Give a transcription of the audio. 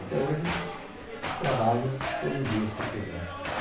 Até hoje trabalho todo dia, se eu quiser.